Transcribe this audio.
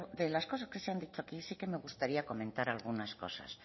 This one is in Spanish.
de las cosas que se han dicho aquí sí que me gustaría comentar algunas cosas